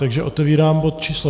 Takže otevírám bod číslo